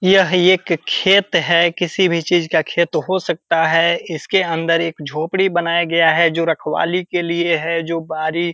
यह एक खेत है किसी भी चीज का खेत हो सकता है इसके अंदर एक झोपड़ी बनाया गया है जो रखवाली के लिए है जो बाड़ी --